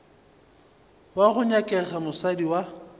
wo go nyakega mosadi wa